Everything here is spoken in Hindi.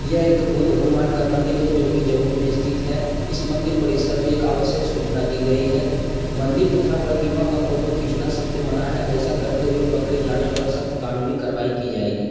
यह एक बुद्ध भगवान का मंदिर है जो की जमुई में स्तिथ है। इस मंदिर परिसर में एक आवश्यक सुचना दी गई है। मंदिर तथा प्रतिमा का फोटो खीचना सक्त मना है ऐसा करते हुए पकड़े जाने पर सक्त कानूनी कारवाई की जाएगी।